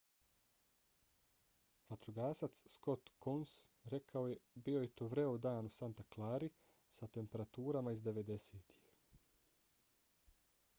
vatrogasac scott kouns rekao je bio je to vreo dan u santa clarii sa temperaturama iz 90-ih